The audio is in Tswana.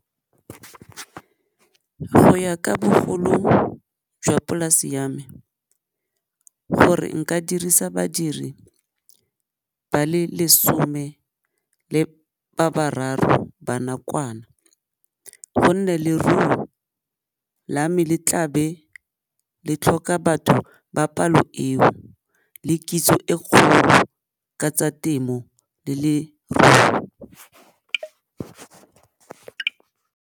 Go ya ka bogolo jwa polase ya me, gore nka dirisa badiri ba le lesome le ba bararo ba nakwana, gonne leruo la me le tlabe le tlhoka batho ba palo eo le kitso e kgolo ka tsa temo le leruo.